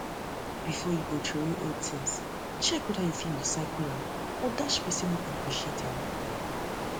before you throway old throway old things check whether you fit recycle am or dash persin wey go appreciate am